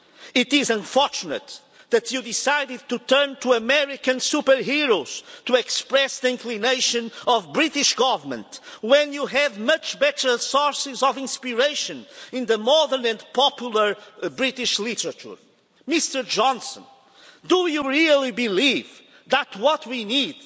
It is unfortunate that you decided to turn to American superheroes to express the inclination of the British Government when you have much better sources of inspiration in modern and popular British literature. Mr Johnson, do you really believe that what we need